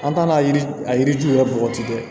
An t'an na yiri a yiriw yɛrɛ bɔgɔti dɛ